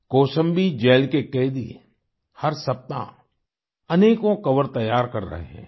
Kaushambi jail के कैदी हर सप्ताह अनेकों कोवर तैयार कर रहे हैं